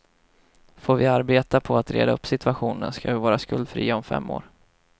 Får vi arbeta på att reda upp situationen ska vi vara skuldfria om fem år.